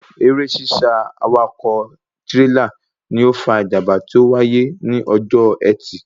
Eré sísá awakọ̀ tírélà ni ó fa ìjàmbá tí ó wáyé ní ọjọ́ ẹtì